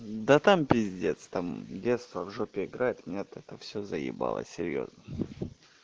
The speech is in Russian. да там пиздец там детство в жопе играет меня это все заебало серьёзно